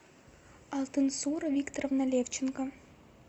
алтынсура викторовна левченко